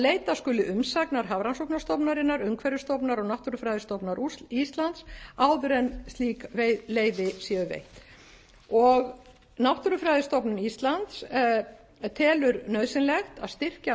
leita skuli umsagna hafrannsóknastofnunarinnar umhverfisstofnunar og náttúrufræðistofnunar íslands áður en slík leyfi séu veitt náttúrufræðistofnun íslands telur nauðsynlegt að styrkja